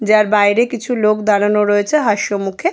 যার বাইরে কিছু লোক দাঁড়ানো রয়েছে হাসিমুখে --